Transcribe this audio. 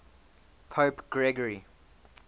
pope gregory